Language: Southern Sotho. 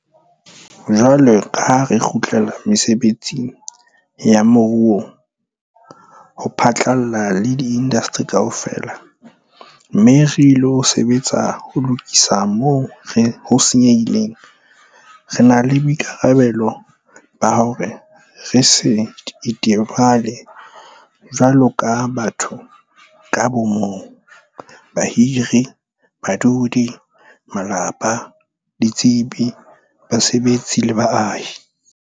Jwalo ka ha re kgutlela mesebetsing ya moruo ho phatlalla le diindasteri kaofela, mme re ilo sebetsa le ho lokisa moo ho senyehileng, re na le boikarabelo ba hore re se itebale jwaloka batho ka bo mong, bahiri, badudi, malapa, ditsebi, basebetsi le baahi.